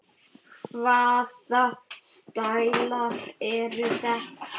Hvaða stælar eru þetta?